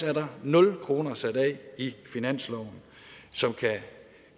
er der nul kroner sat af i finansloven som kan